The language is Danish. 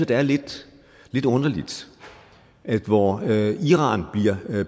det er lidt underligt at hvor iran bliver